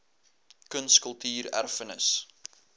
kuns kultuur erfenis